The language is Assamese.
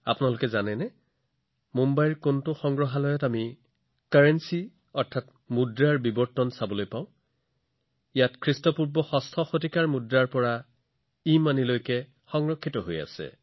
আপোনালোকে জানেনে মুম্বাইত এনে কোনটো সংগ্ৰহালয় আছে যত আমি মুদ্ৰাৰ বিৱৰ্তন অতি আকৰ্ষণীয় ভাৱে দেখিবলৈ পাওঁ ইয়াত খ্ৰীষ্টপূৰ্ব ষষ্ঠ শতিকাৰ মুদ্ৰা আছে আনহাতে ইধনো আছে